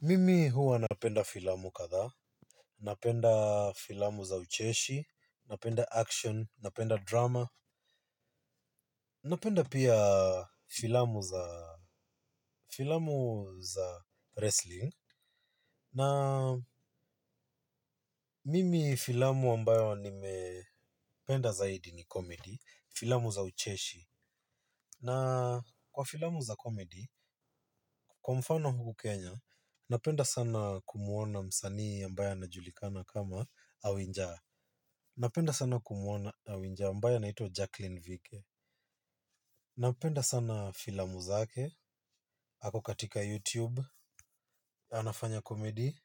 Mimi huwa napenda filamu kadhaa napenda filamu za ucheshi, napenda action, napenda drama, napenda pia filamu za filamu za wrestling, na mimi filamu ambayo nimependa zaidi ni comedy, filamu za ucheshi, na kwa filamu za comedy, kwa mfano huku Kenya, napenda sana kumuona msanii ambaye anajulikana kama awinjaa, napenda sana kumuona awinja ambaye anaitwa jaclyn vike. Napenda sana filamu zake ako katika youtube. Anafanya komedi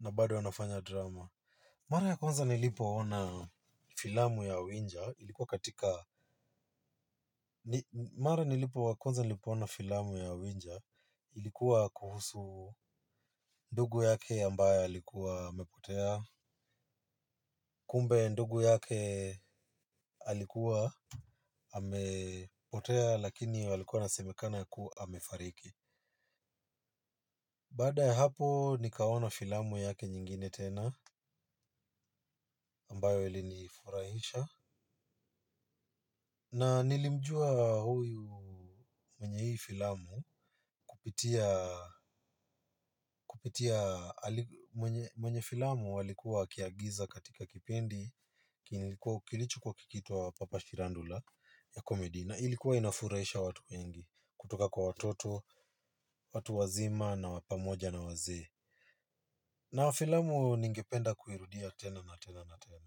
na bado anafanya drama. Mara ya kwanza nilipoona filamu ya awinja ilikuwa katika mara ya konza nilipoona filamu ya winja ilikuwa kuhusu ndugu yake ambaye alikuwa amepotea. Kumbe ndugu yake alikuwa amepotea lakini ilikuwa inasemekana kuwa amefariki. Baada ya hapo nikaona filamu yake nyingine tena ambayo ilinifurahisha. Na nilimjua huyu mwenye hii filamu kupitia mwneye filamu alikuwa akiigiza katika kipimdi kilichokuwa kikiitwa papa shirandula ya komedi na ilikuwa inafurahisha watu wengi. Kutoka kwa watoto, watu wazima na wapamoja na waze na wafilamu ningependa kuirudia tena na tena na tena.